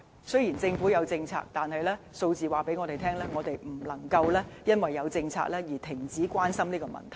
雖然政府有政策，但數字告訴我們，不能因為有政策而停止關心這個問題。